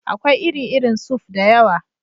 Akwai iri-irin suf (soup) da yawa.